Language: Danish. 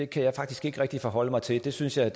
kan jeg faktisk ikke rigtig forholde mig til det synes jeg